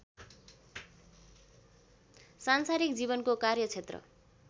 सान्सारिक जीवनको कार्यक्षेत्र